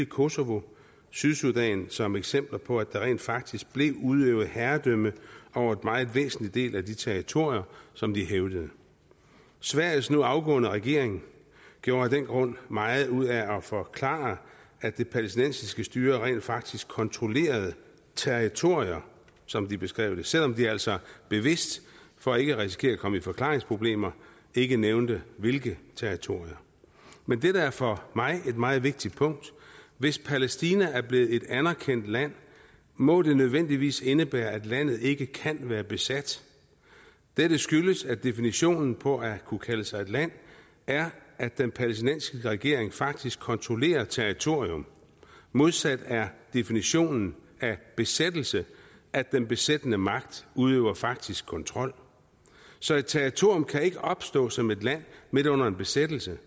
kosovo og sydsudan som eksempler på at der rent faktisk blev udøvet herredømme over en meget væsentlig del af de territorier som de hævdede sveriges nu afgående regering gjorde af den grund meget ud af at forklare at det palæstinensiske styre rent faktisk kontrollerede territorier som de beskrev det selv om de altså bevidst for ikke at risikere at komme i forklaringsproblemer ikke nævnte hvilke territorier men dette er for mig et meget vigtigt punkt hvis palæstina er blevet et anerkendt land må det nødvendigvis indebære at landet ikke kan være besat dette skyldes at definitionen på at kunne kalde sig et land er at den palæstinensiske regering faktisk kontrollerer et territorium modsat er definitionen af besættelse at den besættende magt udøver faktisk kontrol så et territorium kan ikke opstå som et land midt under en besættelse